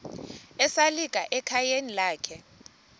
esalika ekhayeni lakhe